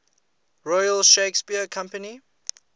royal shakespeare company